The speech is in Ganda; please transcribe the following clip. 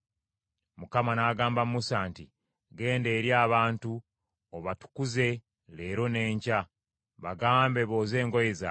Mukama n’agamba Musa nti, “Genda eri abantu, obatukuze leero n’enkya. Bagambe booze engoye zaabwe,